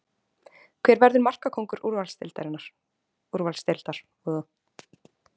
Hver verður markakóngur úrvalsdeildar?